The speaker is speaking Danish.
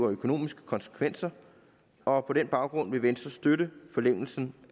økonomiske konsekvenser og på den baggrund vil venstre støtte forlængelsen